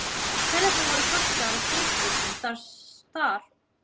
Ferðirnar voru kostaðar af stjórnvöldum þar og voru undir umsjón Vísindafélagsins.